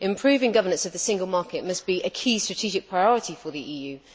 Improving governance of the Single Market must be a key strategic priority for the EU.